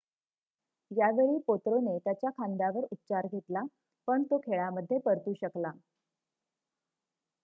यावेळी पोत्रोने त्याच्या खांद्यावर उपचार घेतला पण तो खेळामध्ये परतू शकला